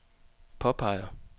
påpeger